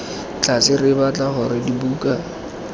tlase re batla gore dibuka